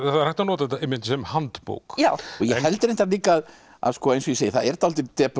er hægt að nota þetta einmitt sem handbók ég held reyndar líka að eins og ég segi það er dálítil depurð